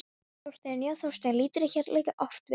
Þorsteinn, já, Þorsteinn lítur hér líka oft við.